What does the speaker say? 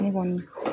Ne kɔni